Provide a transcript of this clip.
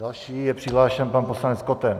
Další je přihlášen pan poslanec Koten.